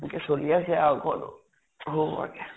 এনেকে চলি আছে ঘৰ, সৰু সুৰাকে ।